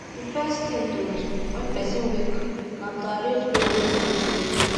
di first thing to do when person wake na to arrange bed wey im take sleep